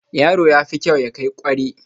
Yaro yafi kyau ya kai kware